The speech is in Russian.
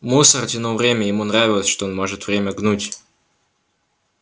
мусор тянул время ему нравилось что он может время гнуть